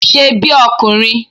Ṣe bí ọkùnrin!